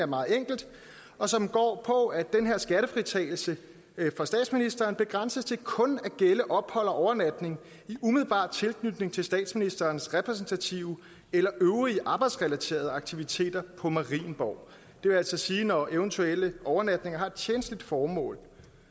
meget enkelt og som går på at den her skattefritagelse for statsministeren begrænses til kun at gælde ophold og overnatning i umiddelbar tilknytning til statsministerens repræsentative eller øvrige arbejdsrelaterede aktiviteter på marienborg det vil altså sige når eventuelle overnatninger har et tjenstligt formål